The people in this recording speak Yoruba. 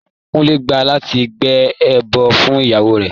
Kúnlé gbà láti gbé ẹbọ fún ìyàwó rẹ̀.